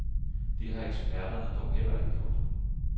Det har eksperterne dog heller ikke gjort.